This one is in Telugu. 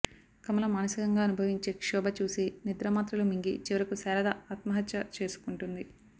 కమల మానసికంగా అనుభవించే క్షోభ చూసి నిద్రమాత్రలు మింగి చివరకు శారద ఆత్మహత్య చేసుకుంటుంది